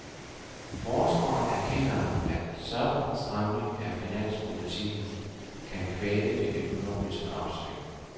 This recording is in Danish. Forskeren erkender, at en sådan stramning af finanspolitikken kan kvæle det økonomiske opsving.